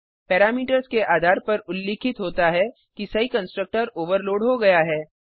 parameters के आधार पर उल्लिखित होता है कि सही कंस्ट्रक्टर ओवरलोड हो गया है